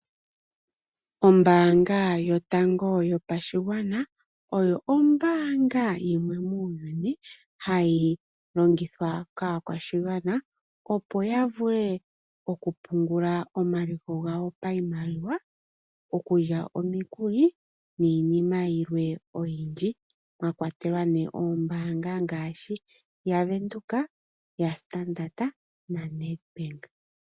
Ombaanga yotango yopashigwana oyo ombaanga yimwe ndjoka hayi longithwa kaakwashigwana, opo ya vule okupungula omaliko gawo pashimaliwa, okulya omikuli niinima yimwe oyindji, mwakwatelwa nombaanga dhimwe ngaashi ONedbank, Standard bank, nombaanga yaVenduka.